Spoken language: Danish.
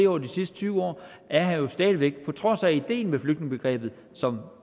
over de sidste tyve år er her jo stadig væk på trods af at ideen med flygtningebegrebet som